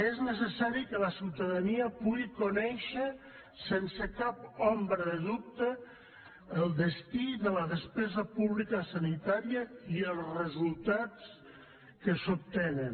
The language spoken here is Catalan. és necessari que la ciutadania pugui conèixer sense cap ombra de dubte el destí de la despesa pública sanitària i els resultats que s’obtenen